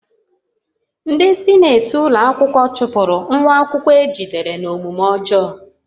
Ndị sinetị ụlọ akwụkwọ chụpụrụ nwa akwụkwọ a jidere n'omume ọjọọ